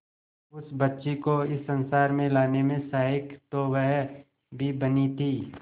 उस बच्ची को इस संसार में लाने में सहायक तो वह भी बनी थी